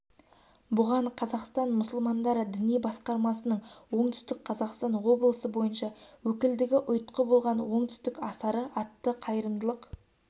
бұған қазақстан мұсылмандары діни басқармасының оңтүстік қазақстан облысы бойынша өкілдігі ұйытқы болған оңтүстік асары атты қайырымдылық